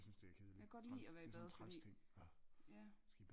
Jeg kan godt lide at være i bad fordi ja